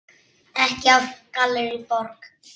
Ekki af Gallerí Borg.